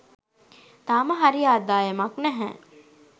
තාම හරි ආදායමක් නැහැ